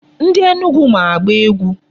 Ndị Enugu ma agba egwu.